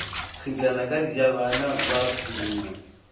kgitlana ka dijabana ba purunyana